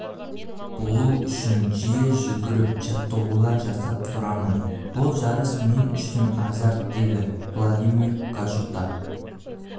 болу үшін жиі жүгіріп жаттығулар жасап тұрамын бұл жарыс мен үшін азарт деді владимир гашута